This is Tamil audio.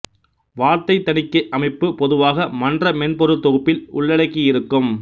வார்த்தைத் தணிக்கை அமைப்பு பொதுவாக மன்ற மென்பொருள் தொகுப்பில் உள்ளடக்கியிருக்கும்